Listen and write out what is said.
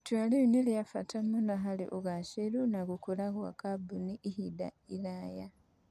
Itua rĩu nĩ rĩa bata mũno harĩ ũgaacĩru na gũkũra kwa kambuni ihinda iraya.